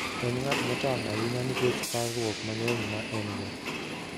En ng'at motang ' ahinya nikech parruok mang'eny ma en - go.